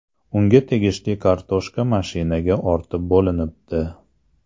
Unga tegishli kartoshka mashinaga ortib bo‘linibdi.